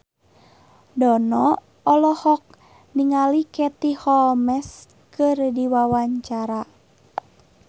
Dono olohok ningali Katie Holmes keur diwawancara